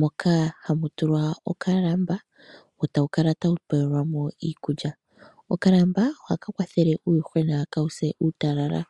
moka hamu tulwa okalamba wo tawu kala tawu faalelwa mo iikulya. Okalamba ohaka kwathele uuyuhwena kaawu se uutalala.